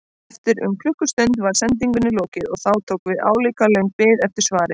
Eftir um klukkustund var sendingunni lokið og þá tók við álíka löng bið eftir svari.